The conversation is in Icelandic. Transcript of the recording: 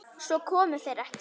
Svo komu þeir ekki.